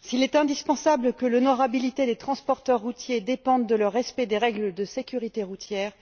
S'il est indispensable que l'honorabilité des transporteurs routiers dépende de leur respect des règles de sécurité routières,